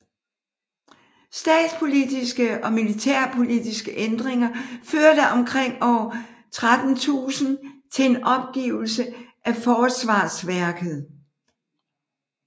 Statspolitiske og militærpolitiske ændringer førte omkring år 1300 til en opgivelse af forsvarsværket